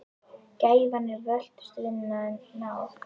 Gæfan er völtust vina, en náð